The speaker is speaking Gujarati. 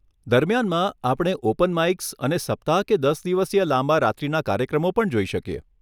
દરમિયાનમાં, આપણે ઓપન માઈક્સ અને સપ્તાહ કે દસ દિવસીય લાંબા રાત્રીના કાર્યક્રમો પણ જોઈ શકીએ.